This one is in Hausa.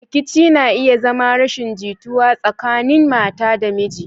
Rikici na iya zama rashin jituwa tsakanin mata da miji.